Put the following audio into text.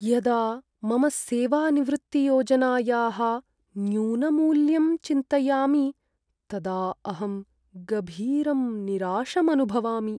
यदा मम सेवानिवृत्तियोजनायाः न्यूनमूल्यं चिन्तयामि तदा अहं गभीरं निराशं अनुभवामि।